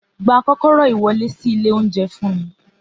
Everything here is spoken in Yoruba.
Gba kókóró iwọle si ile ounjẹ fún mi!